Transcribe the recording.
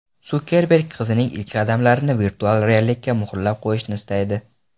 Sukerberg qizining ilk qadamlarini virtual reallikka muhrlab qo‘yishni istaydi.